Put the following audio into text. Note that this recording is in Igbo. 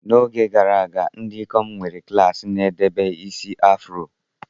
N'oge gara aga, ndị ikom nwere klaasị na-edebe isi afro.